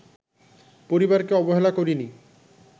পরিবারকে অবহেলা করিনি